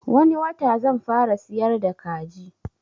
Wani wata zan fara siyar da kaji